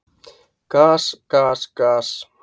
Gas, gas, gas!